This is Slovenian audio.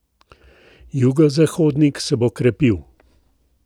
Jugozahodnik se bo krepil.